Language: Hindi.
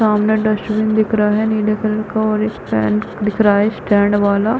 सामने डस्टबिन दिख रहा है नीले कलर का और एक फैन दिख रहा है स्टैंड वाला--